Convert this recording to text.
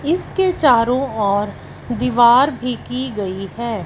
इसके चारो ओर दीवार भी की गई है।